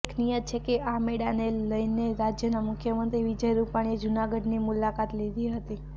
ઉલ્લેખનીય છે કે આ મેળાને લઇને રાજ્યના મુખ્યમંત્રી વિજય રૂપાણીએ જૂનાગઢની મુલાકાત લીધી હતી